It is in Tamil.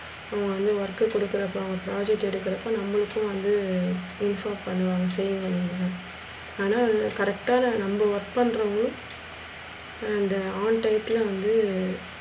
ஹம் work கொடுக்குறப்ப அவுங்க project எடுக்குறப்ப நம்மளுக்கு வந்து prefare பண்ணுவாங்க. ஆனா, correct அ நம்ம work பன்றோங்க அந்த on tite ல வந்து